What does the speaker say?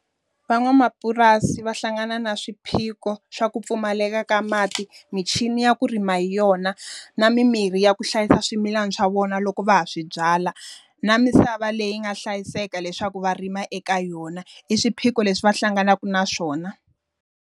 Van'wamapurasi va hlangana na swiphiqo swa ku pfumaleka ka mati, michini ya ku rima hi yona, na mi mirhi ya ku hlayisa swimilana swa vona loko va ha swi byala, na misava leyi nga hlayiseka leswaku va rima eka yona. I swiphiqo leswi va hlanganaka na swona.